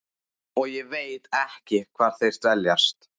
Og ég veit ekki hvar þeir dveljast.